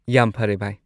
ꯌꯥꯝ ꯐꯔꯦ, ꯚꯥꯢ ꯫